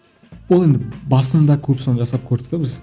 ол енді басында көп соны жасап көрдік те біз